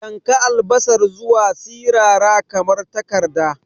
Yanka albasar zuwa sirara kamar takarda.